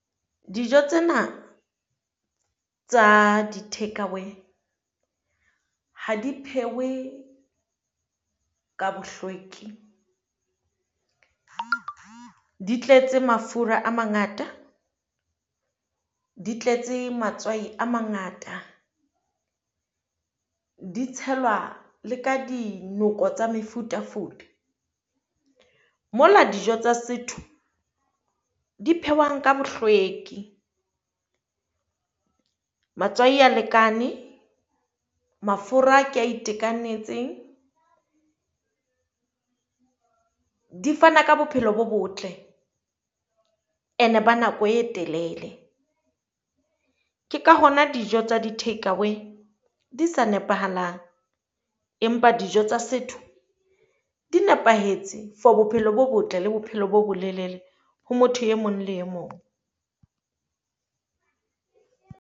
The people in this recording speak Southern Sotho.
Dijo tsena tsa di take away ha di phehwe ka bohlweki, di tletse mafura a mangata, di tletse matswai a mangata di tshelwa le ka dinoko tsa mefutafuta. Mola dijo tsa setho di phehwang ka bohlweki, matswai a lekane, mafura ke a itekanetseng. Di fana ka bophelo bo botle and-e ba nako e telele, ke ka hona dijo tsa di take away di sa nepahalang, empa dijo tsa setho di nepahetse. For Bophelo bo botle le bophelo bo bolelele ho motho e mong le e mong.